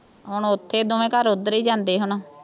ਹੁਣ ਉੱਥੇ ਦੋਵੇਂ ਘਰ ਉੱਧਰੇ ਹੀ ਜਾਂਦੇ ਹੈ ਨਾ